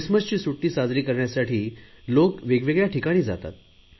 ख्रिसमसची सुट्टी साजरी करण्यासाठी लोक वेगवेगळया ठिकाणी जातात